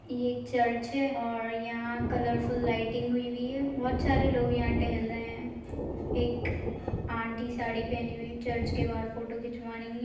ये एक चर्च है और यहां कलर फुल लाइटिंग लगी हुई है बहुत सारे लोग यहां टहल रहे हैं एक आटी चर्च के बाहर फोटो खिंचवा रही है।